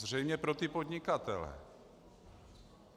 Zřejmě pro ty podnikatele.